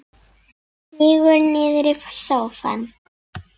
Sígur niður í sófann.